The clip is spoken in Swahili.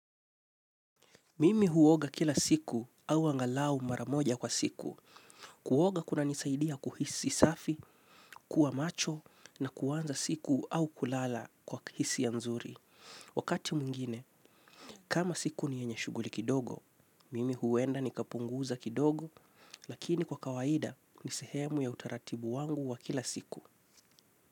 Mimi huoga kila siku au angalau mara moja kwa siku. Kuoga kunanisaidia kuhisi safi, kuwa macho na kuwanza siku au kulala kwa hisia nzuri. Wakati mwingine, kama siku ni yenye shuguli kidogo, mimi huenda nikapunguza kidogo, lakini kwa kawaida ni sehemu ya utaratibu wangu wa kila siku.